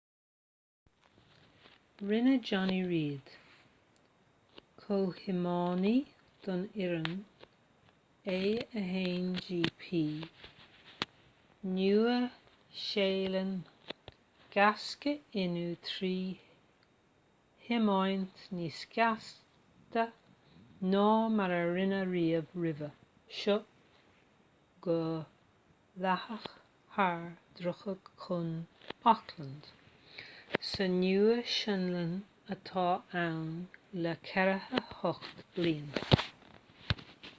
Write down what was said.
rinne jonny reid comhthiománaí don fhoireann a1gp nua-shéalainn gaisce inniu trí thiomáint níos gasta ná mar a rinneadh riamh roimhe seo go dleathach thar dhroichead chuan auckland sa nua shealainn atá ann le 48 bliain